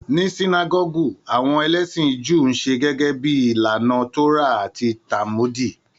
Ní Sinágọ́gù, àwọn ẹlẹ́sìn Júù ńṣe gẹ́gẹ́ bíi ìlànà Tórà àti Tálmùdì.